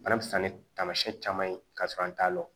Bana bɛ fisa ni taamasiyɛn caman ye ka sɔrɔ an t'a dɔn